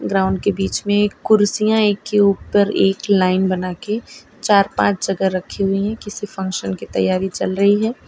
Ground के बीच में कुर्सियां एक के ऊपर एक लाइन बनाके चार पांच जगह रखी हुई है किसी फंक्शन की तैयारी चल रही है।